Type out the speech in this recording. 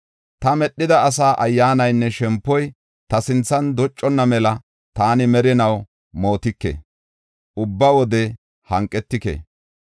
Ta medhida asa ayyaanaynne shempoy, ta sinthan docconna mela taani merinaw mootike; ubba wode hanqetike.